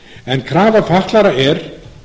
en krafa fatlaðra er